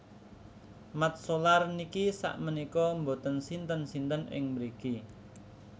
Mat Solar niki sak menika mboten sinten sinten ing mriki